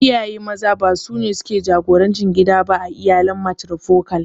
Iyaye Maza ba sune suke jagorantar gida ba a iyalin matrifokal.